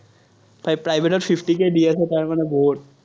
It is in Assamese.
private ত fifty k দি আছে, তাৰমানে বহুত।